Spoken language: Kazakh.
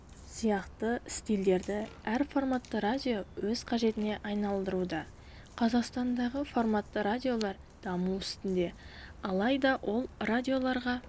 сияқты стильдерді әр форматты радио өз қажетіне айналдыруда қазақстандағы форматты радиолар даму үстінде алайда ол радиоларға